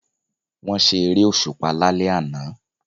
Wọ́n ṣe eré òṣùpá lálẹ́ àná